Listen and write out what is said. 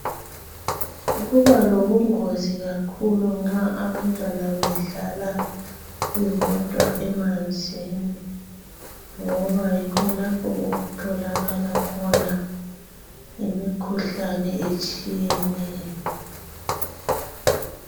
Kubalobungozi kakhulu nxa abantwana bedlala bebodwa emanzini, ngobayikho lapho okutholakala khona imikhuhlane etshiyeneyo.